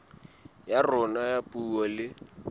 ya rona ya puo le